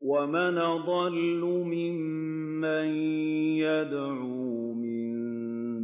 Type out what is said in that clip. وَمَنْ أَضَلُّ مِمَّن يَدْعُو مِن